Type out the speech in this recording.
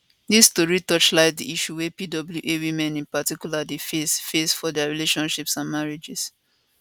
dis tori torchlight di issues wey pwa women in particular dey face face for dia relationships and marriages